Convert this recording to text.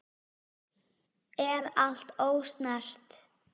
Er allt ósnert?